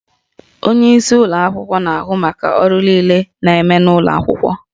Onyeisi ụlọ akwụkwọ na-ahụ maka ọrụ niile na-eme n'ụlọ akwụkwọ